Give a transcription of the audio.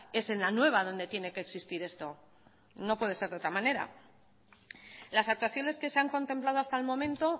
es en la nueva donde tiene que existir esto no puede ser de otra manera las actuaciones que se han contemplado hasta el momento